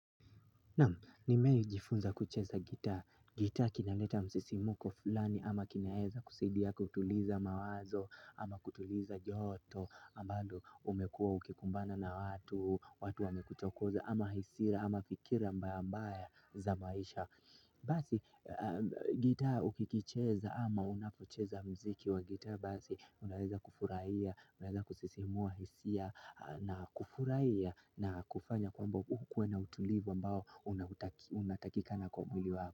Nimei jifunza kucheza ngitaa, ngitaa kinaleta msisimuko fulani ama kinaeza kusaidia ya kutuliza mawazo ama kutuliza joto ambalo umekuwa ukikumbana na watu, watu wamekuchokoza ama hasira ama fikira mbaya mbaya za maisha Basi ngitaa ukikicheza ama unapocheza mziki wa ngitaa basi unaeza kufuraiya Unaleza kusisimua hisia na kufuraiya na kufanya kwamba ukuwe na utulivu ambao unataki unatakikana kwa mwili wako.